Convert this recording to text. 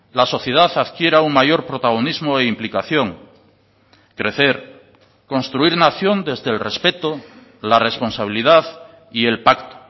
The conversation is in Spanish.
la sociedad adquiera un mayor protagonismo e implicación crecer construir una acción desde el respeto la responsabilidad y el pacto